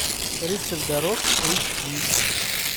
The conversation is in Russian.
рыцарь дорог эйч ди